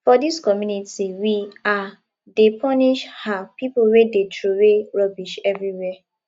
for dis community we um dey punish um pipo wey dey troway rubbish everywhere